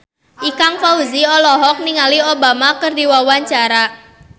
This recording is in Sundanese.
Ikang Fawzi olohok ningali Obama keur diwawancara